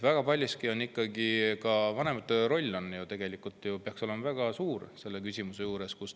Ka vanemate roll peaks selle küsimuse juures olema ju väga suur.